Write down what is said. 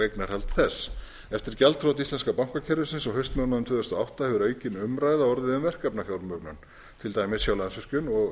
eignarhald þess eftir gjaldþrot íslenska bankakerfisins á haustmánuðum tvö þúsund og átta hefur aukin umræða orðið um verkefnafjármögnun til dæmis hjá landsvirkjun